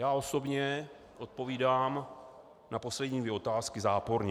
Já osobně odpovídám na poslední dvě otázky záporně.